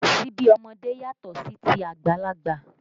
Síbi ọmọdé yàtọ̀ sí ti àgbàlagbà